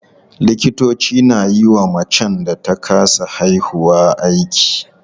Likitoci na yiwa macen da ta kasa haihuwa aiki.